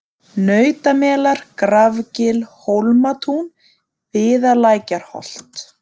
Nautamelar, Grafgil, Hólmatún, Viðalækjarholt